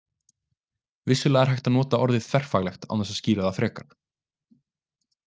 Vissulega er hægt að nota orðið þverfaglegt án þess að skýra það frekar.